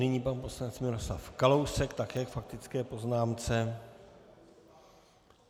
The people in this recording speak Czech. Nyní pan poslanec Miroslav Kalousek také k faktické poznámce.